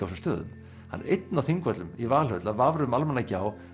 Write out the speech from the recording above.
þessum stöðum hann er einn á Þingvöllum í Valhöll að vafra um Almannagjá